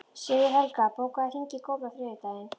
Sigurhelga, bókaðu hring í golf á þriðjudaginn.